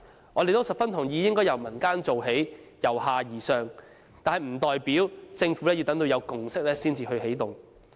我們也十分同意應該由民間做起，由下而上，但不代表政府要等到有共識才起動。